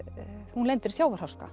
hún lendir í sjávarháska